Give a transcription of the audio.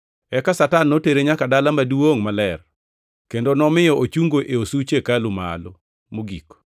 Eka Satan notere nyaka dala maduongʼ maler, kendo nomiyo ochungo e osuch hekalu malo mogik.